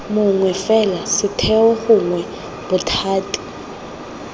mongwe fela setheo gongwe bothati